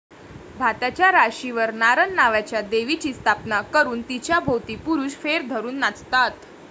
भाताच्या राशीवर नारन नावाच्या देवीची स्थापना करून तिच्याभोवती पुरुष फेर धरून नाचतात.